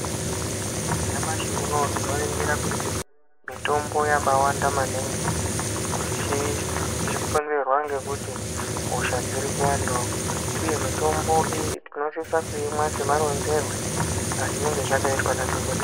Nyamashi unou tinoningira kuti mitombo yakawanda maningi zvichikonzerwa nekuti hosha dzirikuwandawo uye mitombo iyi tinosisa kuimwa semaronzerwe azvinenge zvakaita madhokodheya.